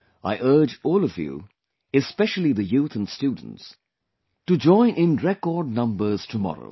I urge all of you, especially the youth & students to join in record numbers tomorrow